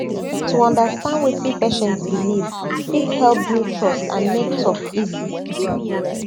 to understand wetin patient believe fit help build trust and make talk easy